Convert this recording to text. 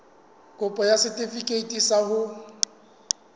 kopo ya setefikeiti sa ho